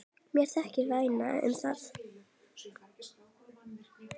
Mér þykir vænt um það.